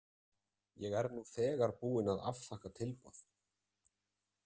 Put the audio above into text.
Ég er nú þegar búin að afþakka tilboð.